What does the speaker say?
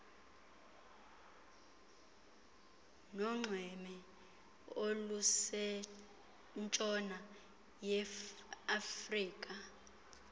nonxweme olusentshona yeafrika